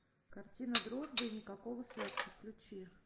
картина дружба и никакого секса включи